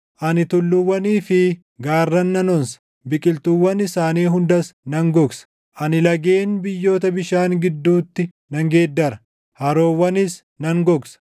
Ani tulluuwwanii fi gaarran nan onsa; biqiltuuwwan isaanii hundas nan gogsa; ani lageen biyyoota bishaan gidduutti nan geeddara; haroowwanis nan gogsa.